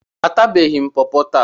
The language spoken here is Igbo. Atabeghị m pọpọ taa.